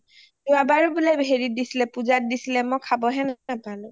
যোৱা বাৰো বোলে হেৰিত দিছিলে পূজাত দিছিলে মই খাব হে নাপালোঁ আৰু